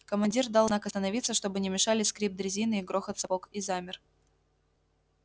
командир дал знак остановиться чтобы не мешали скрип дрезины и грохот сапог и замер